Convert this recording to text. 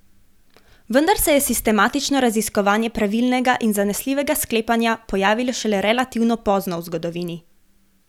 Vendar se je sistematično raziskovanje pravilnega in zanesljivega sklepanja pojavilo šele relativno pozno v zgodovini.